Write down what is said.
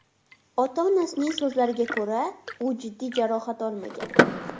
Ota-onasining so‘zlariga ko‘ra, u jiddiy jarohat olmagan.